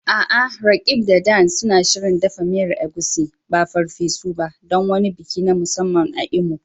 A'a, Roqeeb da Dan suna shirin dafa miyar Egusi, ba farfesu ba, don wani biki na musamman a Imo.